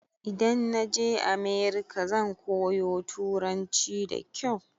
Idan naje America zan koyo turanci da kyau